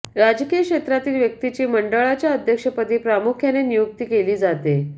राजकीय क्षेत्रातील व्यक्तीची मंडळाच्या अध्यक्षपदी प्रामुख्याने नियुक्ती केली जाते